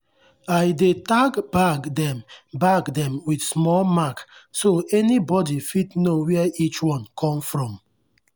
i dey tag bag them bag them with small mark so anybody fit know where each one come from.